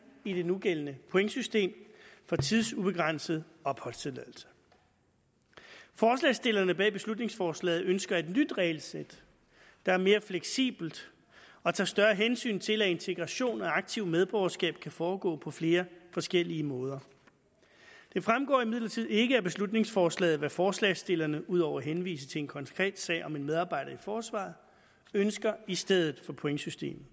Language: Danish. i det nugældende pointsystem for tidsubegrænset opholdstilladelse forslagsstillerne bag beslutningsforslaget ønsker et nyt regelsæt der er mere fleksibelt og tager større hensyn til at integration og aktivt medborgerskab kan foregå på flere forskellige måder det fremgår imidlertid ikke af beslutningsforslaget hvad forslagsstillerne ud over at henvise til en konkret sag om en medarbejder i forsvaret ønsker i stedet for pointsystemet